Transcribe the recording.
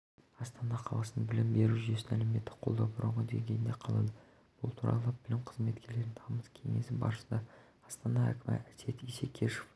астана қаласының білім беру жүйесін әлеуметтік қолдау бұрынғы деңгейінде қалады бұл туралы білім қызметкерлерінің тамыз кеңесі барысында астана әкімі әсет исекешев